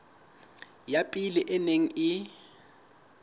ya pele e neng e